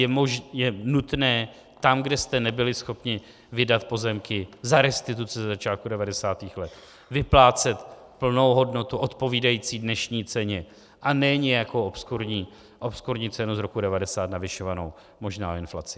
Je nutné tam, kde jste nebyli schopni vydat pozemky za restituce ze začátku 90. let, vyplácet plnou hodnotu odpovídající dnešní ceně, a ne nějakou obskurní cenu z roku 1990 navyšovanou možná o inflaci.